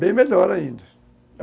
Bem melhor ainda.